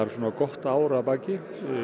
gott ár að baki